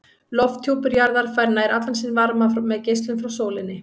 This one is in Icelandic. Lofthjúpur jarðar fær nær allan sinn varma með geislun frá sólinni.